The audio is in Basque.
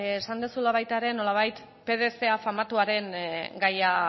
esan duzula baita ere nolabait pdf famatuaren gaia